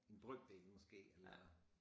En brøkdel måske eller